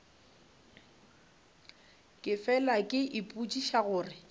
ke fela ke ipotšiša gore